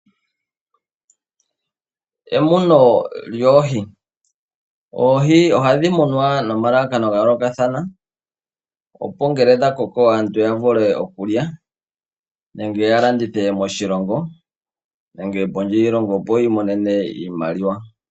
Emuno lyoohi Oohi ohadhi munwa nomalalakano ga yoolokathana, opo ngele dha koko aantu ya vule okulya nenge ya landithe moshilongo nenge pondje yiilongo, opo yi imonene iimaliwa.